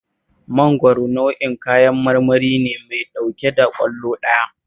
Mangwaro nau'in kayan marmari ne mai ɗauke da ƙwallo ɗaya